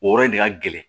O yɔrɔ in de ka gɛlɛn